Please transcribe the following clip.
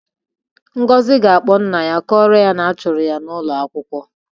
Ngozi ga-akpọ nna ya kọrọ ya na a chụrụ ya n'ụgwọ akwụkwọ.